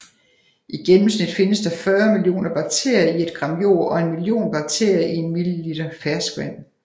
I gennemsnit findes der 40 millioner bakterier i et gram jord og en million bakterier i en milliliter ferskvand